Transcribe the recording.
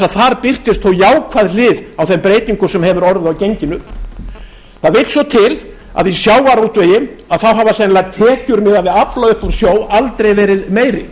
að þar birtist þó jákvæð hlið á þeim breytingum sem hefur orðið á genginu það vill svo til að í sjávarútvegi hafa sennilega tekjur miðað við afla upp úr sjó aldrei verið meiri